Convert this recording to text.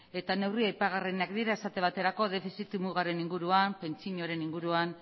neurri aipagarrienak dira esate baterako defizit mugaren inguruan pentsioen inguruan